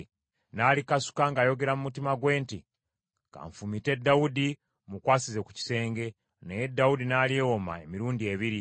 n’alikasuka, ng’ayogera mu mutima gwe nti, “Kanfumite Dawudi mmukwasize ku kisenge.” Naye Dawudi n’alyewoma emirundi ebiri.